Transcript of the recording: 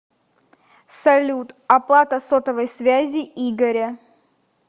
салют оплата сотовой связи игоря